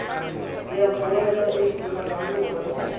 ya mmoelwa e e golaganngwang